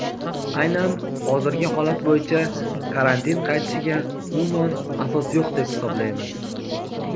Aynan hozirgi holat bo‘yicha karantin qaytishiga umuman asos yo‘q deb hisoblaymiz.